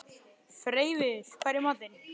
Freyviður, hvað er í matinn?